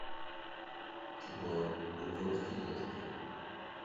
кино гудзонский ястреб